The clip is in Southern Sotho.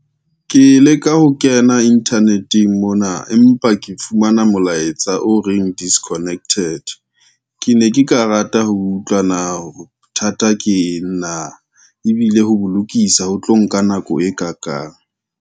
Ke leka ho kena internet-eng mona, empa ke fumana molaetsa o reng disconnected ke ne ke ka rata ho utlwa na hore bothata keng na ebile ho bo lokisa ho tlo nka nako e ka kang.